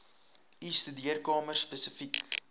u studeerkamer spesifiek